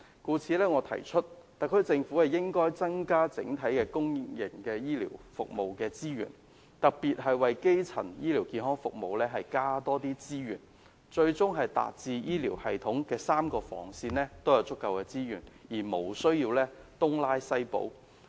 因此，我提議特區政府應該增加整體公營醫療服務的資源，特別為基層醫療健康服務增加多些資源，最終達致醫療系統3個防線也有足夠的資源，無須東拉西補。